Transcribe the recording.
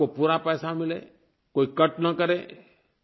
आपको पूरा पैसा मिले कोई कट ना करे